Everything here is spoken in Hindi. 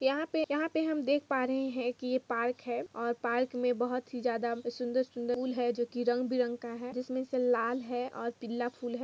यहाँ पे हम देख पा रहे है की ये पार्क है और पार्क में बहोत ही ज्यादा सुंदर सुंदर फुल है जो की रंग बिरंग का है जिस में से लाल है और पिला है।